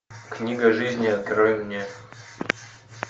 книга жизни открой мне